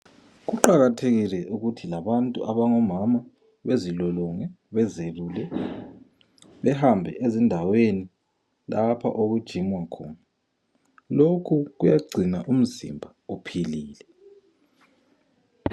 Kuqakathekile ukuthi labantu abangomama bezilolonge, bezelule, behambe ezindaweni lapho okujinywa khona. Lokhu kuyagcina umzimba uphilile.